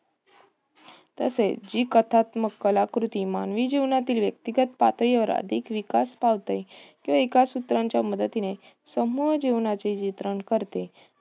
तसेच जी कथात्मक कलाकृती मानवी जीवनातील व्यक्तीगत पातळीवर अधिक विकास पावते. तो एका सूत्राच्या मदतीने समूळ जीवनाचे चित्रण करते.